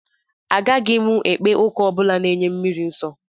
Agaghị m ekpe ụka ọ bụla na-enye mmiri nsọ